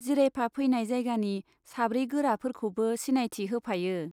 जिरायफा फैनाय जायगानि साब्रै गोराफोरखौबो सिनायथि होफायो।